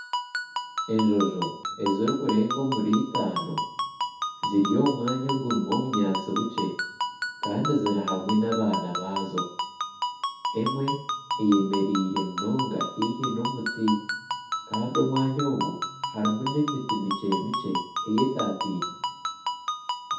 Enjojo ezirikurenga omuri itano ziri omu mwanya ogurimu obunyatsi bukye Kandi ziri hamwe nabaana baazo emwe eyemereire munonga haihi n'omuti Kandi omwanya ogu harimu n'emiti mikye mikye eyetatiine